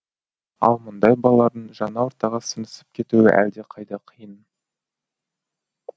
ал мұндай балалардың жаңа ортаға сіңісіп кетуі әлдеқайда қиын